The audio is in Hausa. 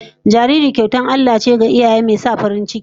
Jarirai kyautar Allah ce ga iyaye, mai sa farin ciki